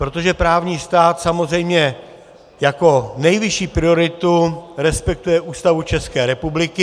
Protože právní stát samozřejmě jako nejvyšší prioritu respektuje Ústavu České republiky.